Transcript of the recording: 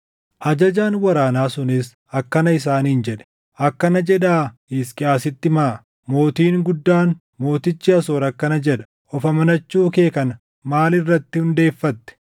Ajajaan waraanaa sunis akkana isaaniin jedhe; “Akkana jedhaa Hisqiyaasitti himaa: “ ‘Mootiin guddaan, mootichi Asoor akkana jedha: Of amanachuu kee kana maal irratti hundeeffatte?